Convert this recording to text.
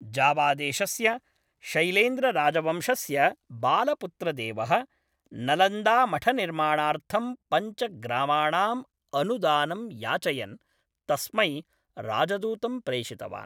जावादेशस्य शैलेन्द्रराजवंशस्य बालपुत्रदेवः, नलन्दामठनिर्माणार्थं पञ्चग्रामाणाम् अनुदानम् याचयन्, तस्मै राजदूतं प्रेषितवान्।